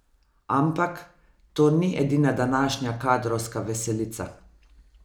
Ampak, to ni edina današnja kadrovska veselica!